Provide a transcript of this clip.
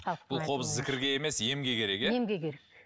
бұл қобыз зікірге емес емге керек иә емге керек